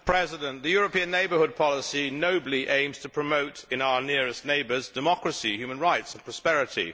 Madam President, the European neighbour policy nobly aims to promote in our nearest neighbours democracy, human rights and prosperity.